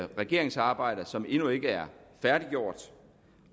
regeringsarbejder som endnu ikke er færdiggjort